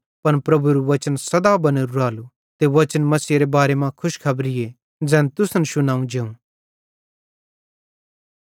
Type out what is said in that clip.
पन प्रभुएरू वचन सदा बनोरू रालू ते वचन मसीहेरे बारे मां खुशखबरी ज़ैन तुसन शुनव जेवं